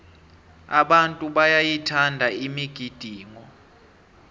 abantu bayayithanda imigidingo